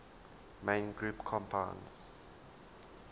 main group compounds